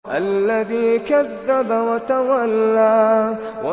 الَّذِي كَذَّبَ وَتَوَلَّىٰ